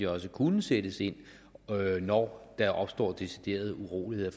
også kunne sættes ind når der opstår decideret uroligheder